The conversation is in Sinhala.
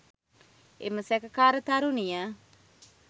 එම සැකකාර තරුණිය